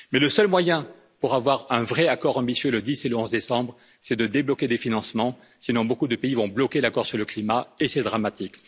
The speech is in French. Mais le seul moyen pour avoir un vrai accord ambitieux les 10 et 11 décembre, c'est de débloquer des financements, sinon beaucoup de pays vont bloquer l'accord sur le climat, et c'est dramatique.